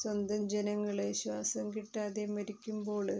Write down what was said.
സ്വന്തം ജനങ്ങള് ശ്വാസം കിട്ടാതെ മരിക്കുമ്പോള്